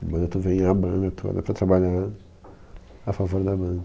A banda tu vem a banda toda para trabalhar a favor da banda.